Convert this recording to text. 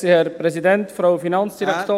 Ach, Entschuldigung … Ist ja egal.